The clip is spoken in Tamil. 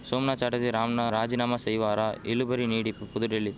சோம்நாத் சாட்டர்ஜி ராம்ன ராஜினாமா செய்வாரா இழுபறி நீடிப்பு புதுடில்லி